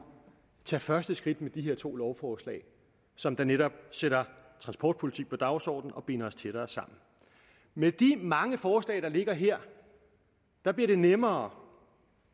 tage første skridt med de her to lovforslag som netop sætter transportpolitik på dagsordenen og binder os tættere sammen med de mange forslag der ligger her bliver det nemmere